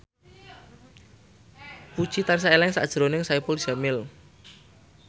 Puji tansah eling sakjroning Saipul Jamil